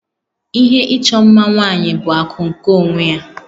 Ihe ịchọ mma nwaanyị bụ akụ nke onwe ya